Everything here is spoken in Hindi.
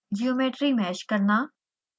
geometry mesh करना